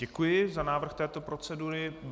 Děkuji za návrh této procedury.